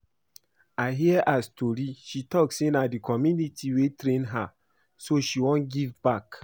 I hear her story. She talk say na the community wey train her so she wan give back